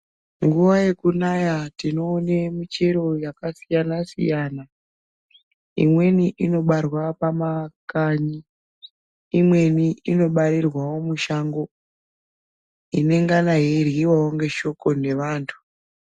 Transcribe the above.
Nguwa yekumaya tinoone michero yakasiyana siyana imweni inobatwa pamakanyi imweni inobarirwawo mishango inengana yeiryiwayo neshoko nevantu.